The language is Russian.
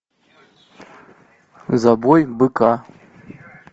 забой быка